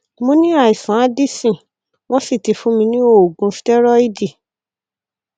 mo ní àìsàn addison wọn sì ti fún mi ní oògùn stẹrọìdì